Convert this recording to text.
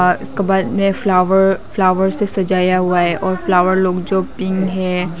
इसको बाद में फ्लावर फ्लावर से सजाया हुआ है और फ्लावर जो पिंक है।